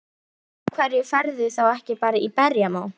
Af hverju ferðu þá ekki bara í berjamó?